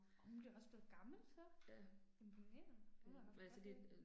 Åh hun blev også blev gammel så. Imponerende, hun må have haft godt held